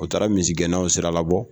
U taara misigɛnnaw siralabɔ